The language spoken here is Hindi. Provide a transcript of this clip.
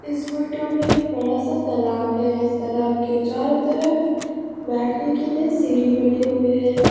इस फोटो में एक बड़ा सा तालाब है इस तरह आपके चारों तरफ बैठने के लिए सीढ़ी बने हुए हैं।